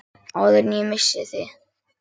Áður en ég missi þig.